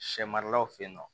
Sɛ maralaw fe yen nɔ